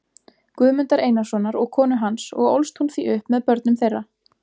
Guðmundar Einarssonar og konu hans og ólst hún því upp með börnum þeirra.